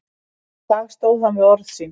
Í dag stóð hann við orð sín.